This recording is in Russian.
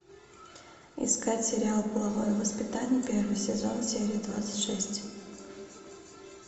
искать сериал половое воспитание первый сезон серия двадцать шесть